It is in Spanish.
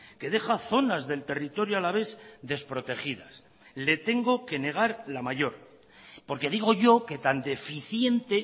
que deja zonas del territorio alavés desprotegidas le tengo que negar la mayor porque digo yo que tan deficiente